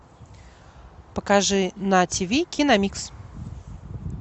покажи на тв киномикс